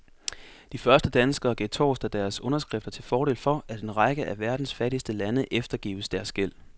De første danskere gav torsdag deres underskrifter til fordel for, at en række af verdens fattigste lande eftergives deres gæld.